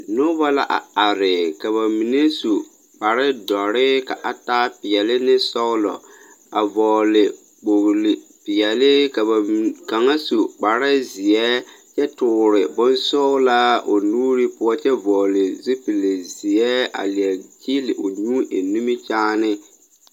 Noba la are, ka ba mine su kpare dõͻre ka a taa peԑle ne sͻgelͻ. A vͻgele kpooli peԑle ka ba kaŋa su kpare zeԑ kyԑ toore bonsͻgelaa o nuuri poͻ kyԑ vͻgele zupili zeԑ, a leԑ kyeele o nyuu eŋ nimikyaane.